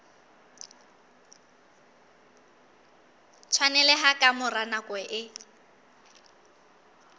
tshwaneleha ka mora nako e